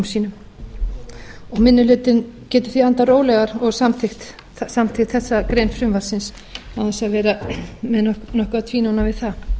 sínum og minni hlutinn getur því andað rólegar og samþykkt þessa grein frumvarpsins án þess að vera nokkuð að tvínóna við það